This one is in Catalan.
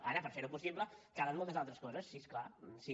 ara per fer ho possible calen moltes altres coses sí és clar sí